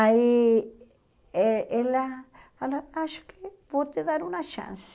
Aí eh ela falou, acho que vou te dar uma chance.